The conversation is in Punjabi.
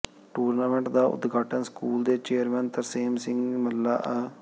ਟੂਰਨਾਮੈਂਟ ਦਾ ਉਦਘਾਟਨ ਸਕੂਲ ਦੇ ਚੇਅਰਮੈਨ ਤਰਸੇਮ ਸਿੰਘ ਮੱਲਾ ਅ